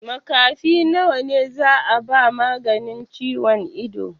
Makafi nawa za a ba maganin ciwon ido?